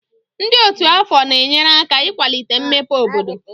Ndị otu afọ na-enyere aka ịkwalite mmepe obodo.